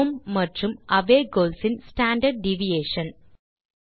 home மற்றும் away goals இன் standard deviation